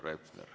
Härra Hepner.